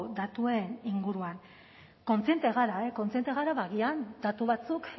datuen inguruan kontziente gara kontziente gara ba agian datu batzuk